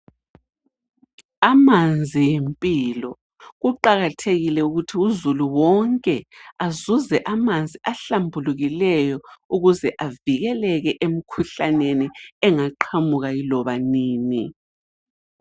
Amanzi yimpilo, kuqakathekile ukuthi uzulu wonke azuze amanzi ahlambulukileyo ukuze avikeleke emkhuhlaneni engaqhamuka yiloba nini.